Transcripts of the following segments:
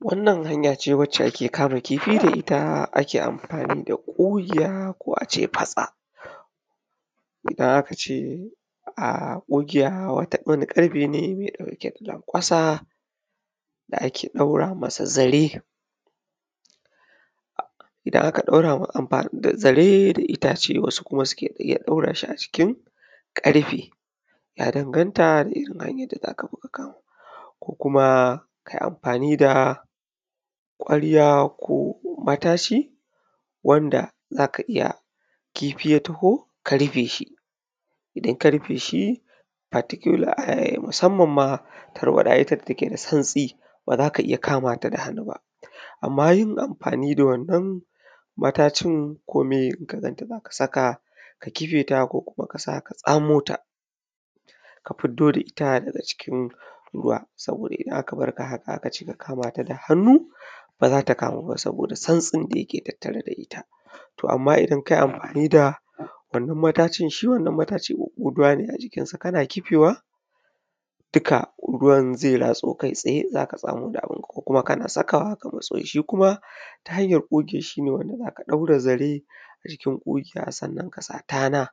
wannan hanya ce wacce ake kama kifi da ita ake amfani da ƙugiya ko a ce fatsa idan aka ce um ƙugiya wani ƙarfe ne mai ɗauke da lanƙwasa da ake ɗaura masa zare idan aka ɗaura zare da itace wasu kuma suke iya ɗaura shi a cikin ƙarfe ya danganta da irin hanyar da za ka bi ka kamo ko kuma kai amfani da ƙwarya ko mataci wanda za ka iya kifi ya taho ka rife shi idan ka rife shi musamman ma tarwaɗa ita da ta ke da santsi ba za ka iya kamata da hannu ba amma yin amfani da wannan matacin ko miye in ka ganta za ka saka ka kife ta ko kuma kasa ka tsamo ta ka fido da ita daga cikin ruwa saboda idan aka barka haka aka ce ka kama ta da hannu ba za ta kamu ba saboda santsin da yake tatare da ita to amma idan kai amfani da wannan matacin shi wannan matacin huhhuduwane a cikinsa kana kifewa duka ruwan zai ratso kai tsaye za ka tsamo da abin ka ko kuma ka na sakawa ka matso shi shi kuma ta hanyar ƙo ƙe shi shine za ka ɗaure zare a cikin ƙugiya sannan ka sa tana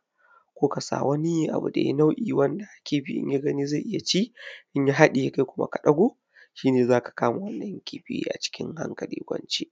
ko kuma wani abu dai nau’in wanda kifi in ya gani zai iya cin inya haɗiye kai kuma ka ɗago shine za ka kama wannan kifi a cikin hankali kwance